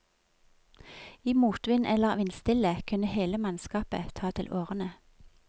I motvind eller vindstille kunne hele mannskapet ta til årene.